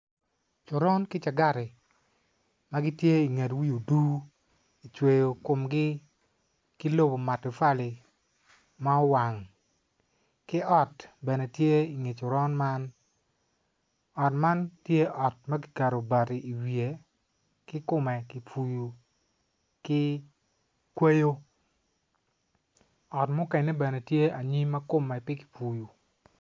Coron ki cangati ma gitye inget wi odur kicweyo komgi ki lobo matafali ma owang ki ot bene tye inge coron man ot man tye ot ma kiketo bati iwiye ki kome kipuyo ki kweyo ot mukene bene tye aniym ma kome pe kipuyo.